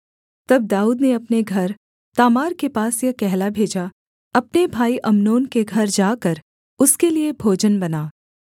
तब दाऊद ने अपने घर तामार के पास यह कहला भेजा अपने भाई अम्नोन के घर जाकर उसके लिये भोजन बना